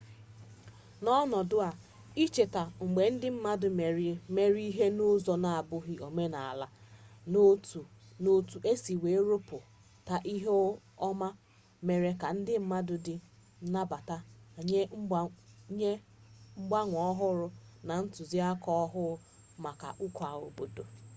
n'ọnọdụ a icheta mgbe ndị mmadụ mere ihe n'ụzọ na-abụghị omenala na otu o si wee rụpụta ihe ọma mere ka ndị mmadụ dị nnabata nye mgbanwe ọhụrụ na ntụzịaka ọhụụ maka ụka obodo